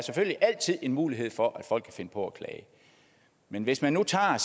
en mulighed for at folk kan finde på at klage men hvis man nu tager